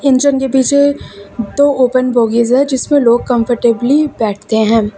Engine के पीछे दो ओपन बोगीज है जिसमें लोग कंफर्टेबली बैठते हैं।